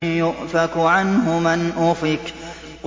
يُؤْفَكُ عَنْهُ مَنْ أُفِكَ